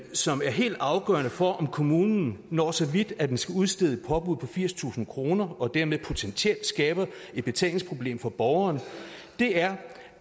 som er helt afgørende for om kommunen når så vidt at den skal udstede et påbud borgeren firstusind kroner og dermed potentielt skaber et betalingsproblem for borgeren er